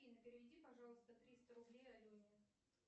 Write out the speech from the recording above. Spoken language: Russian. афина переведи пожалуйста триста рублей алене